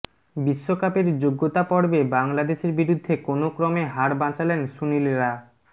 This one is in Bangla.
বিশ্বকাপের যোগ্যতা পর্বে বাংলাদেশের বিরুদ্ধে কোনওক্রমে হার বাঁচালেন সুনীলরা